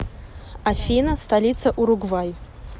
афина столица уругвай